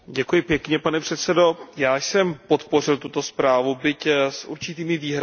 Pane předsedající, já jsem podpořil tuto zprávu, byť s určitými výhradami.